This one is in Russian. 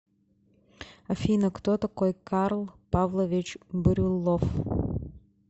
афина кто такой карл павлович брюллов